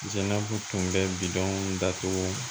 Zanabu tun bɛ bidenw datugu